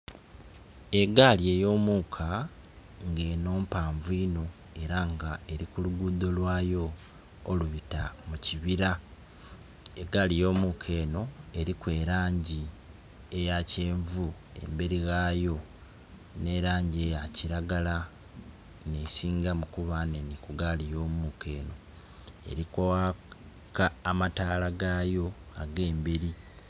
Egali eyomuka eno mpanvu inho era nga erikulugudo lwayo olubita mukyibira. Egali eyomuka eno eriku elangi eyakyenvu eberi ghayo nelangi eyakyiragala nga nesingamu kuba nhenhe kugali eyomuka eno erikwaka amatalagayo age mberi